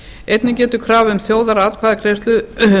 einnig getur krafa um þjóðaratkvæðagreiðslu